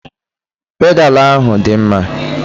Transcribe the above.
Pedalu ahụ dị mma.